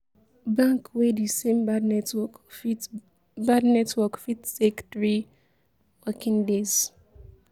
bank wey di same bad network fit bad network fit take 3 working days?